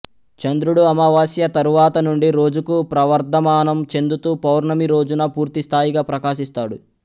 చంద్రుడు అమావాస్య తరువాతనుండి రోజుకూ ప్రవర్ధమానం చెందుతూ పౌర్ణమి రోజున పూర్తి స్థాయిగా ప్రకాశిస్తాడు